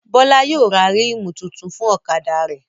Bọ́lá yóò ra ríìmù tuntun fún ọ̀kadà rẹ̀